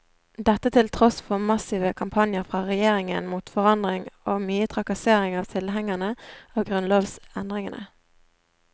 Dette til tross for massive kampanjer fra regjeringen mot forandring og mye trakassering av tilhengerne av grunnlovsendringene.